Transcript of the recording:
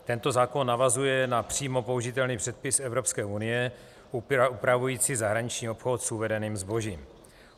Tento zákon navazuje na přímo použitelný předpis Evropské unie upravující zahraniční obchod s uvedeným zbožím.